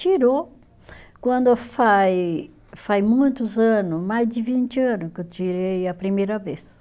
Tirou, quando faz faz muitos ano, mais de vinte ano que eu tirei a primeira vez.